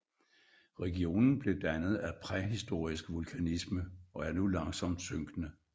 Regionen blev dannet af præhistorisk vulkanisme og er nu langsomt synkende